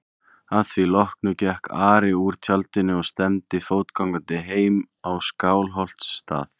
Að því loknu gekk Ari úr tjaldinu og stefndi fótgangandi heim á Skálholtsstað.